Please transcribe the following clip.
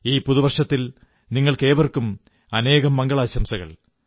ഈ പുതുവർഷത്തിൽ നിങ്ങൾക്കേവർക്കും അനേകം മംഗളാശംസകൾ